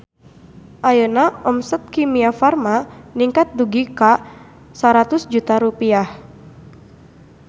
Ayeuna omset Kimia Farma ningkat dugi ka 100 juta rupiah